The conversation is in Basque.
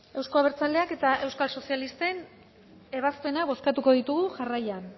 euzko abertzaleak eta euskal sozialisten ebazpenak bozkatuko ditugu jarraian